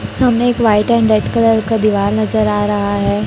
सामने एक white and red colour का दीवाल नजर आ रहा है।